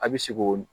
A bɛ se k'o